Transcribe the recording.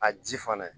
A ji fana